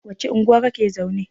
wacce unguwa kake zaune?